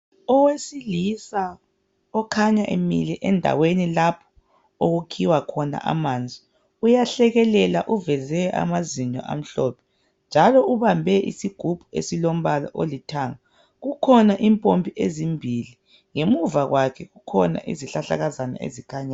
Owesilisa okhanya emile endaweni lapho okukhiwa khona amanzi. Uyahlekelela uveze amazinyo amhlophe. Njalo ubambe isigubhu esilombala olithanga. Kukhona impompi ezimbili. Ngemuva kwakhe kukhona izihlahlakazana ezikhanyayo.